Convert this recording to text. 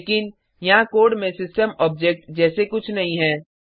लेकिन यहाँ कोड में सिस्टम ऑब्जेक्ट जैसे कुछ नहीं है